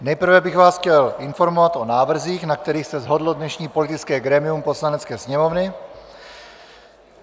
Nejprve bych vás chtěl informovat o návrzích, na kterých se shodlo dnešní politické grémium Poslanecké sněmovny.